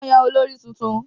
Wọ́n yàn olórí tuntun